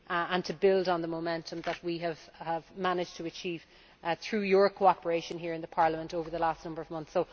and to build on the momentum that we have managed to achieve through your cooperation here in Parliament over the last number of months.